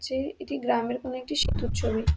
চে এটি গ্রামের কোনো একটি সেতুর ছবি।